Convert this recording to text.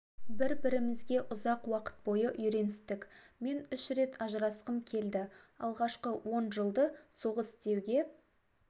бір-бірімізге ұзақ уақыт бойы үйреністік мен үш рет ажырасқым келді алғашқы он жылды соғыс деуге